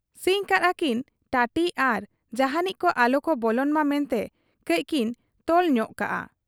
ᱥᱤᱧ ᱠᱟᱫ ᱟ ᱠᱤᱱ ᱴᱟᱹᱴᱤ ᱟᱨ ᱡᱟᱦᱟᱸᱱᱤᱡ ᱠᱚ ᱟᱞᱚᱠᱚ ᱵᱚᱞᱚᱱ ᱢᱟ ᱢᱮᱱᱛᱮ ᱠᱟᱹᱡᱠᱤᱱ ᱛᱚᱞ ᱧᱚᱜ ᱠᱟᱫ ᱟ ᱾